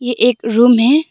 ये एक रूम है।